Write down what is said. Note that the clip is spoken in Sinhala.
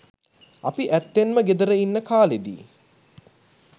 අපි ඇත්තෙන්ම ගෙදර ඉන්න කාලෙදි